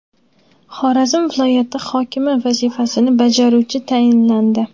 Xorazm viloyati hokimi vazifasini bajaruvchi tayinlandi.